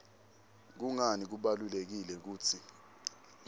kungani kubalulekile kutsi